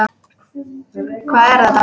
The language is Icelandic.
Hvað er þetta?